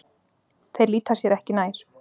Þeir líta sér ekki nær.